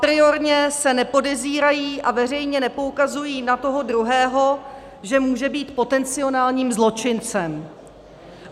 Apriorně se nepodezírají a veřejně nepoukazují na toho druhého, že může být potenciálním zločincem.